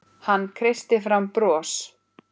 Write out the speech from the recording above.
Hann kreisti fram bros.